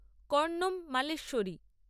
Karnam Malleswari